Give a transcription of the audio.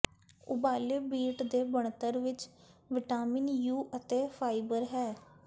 ਉਬਾਲੇ ਬੀਟ ਦੀ ਬਣਤਰ ਵਿੱਚ ਵਿਟਾਮਿਨ ਯੂ ਅਤੇ ਫਾਈਬਰ ਹੈ